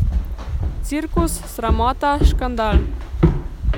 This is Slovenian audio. Cirkus, sramota, škandal.